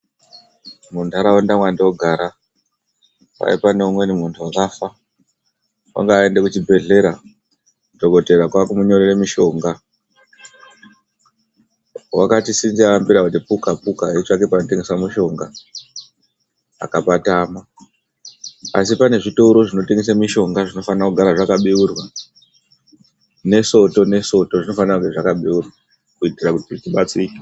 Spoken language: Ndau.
Muntharaunda mwandogara, kwai pane umweni muntuu wakafa. Wanga aende kuchibhedhlera, dhokodheya kwaaku munyorera mushonga. Wakati ngaricho aambira kuti puka-puka kutsvaka panotengeswa mushonga, akapatama. Asi pane zvitoro zvinotengesa mushonga zvinofanira kugara zvakabeurwa. NeSoto neSoto zvinofane kunge zvakabeurwa kuitira kuti tidetsereke.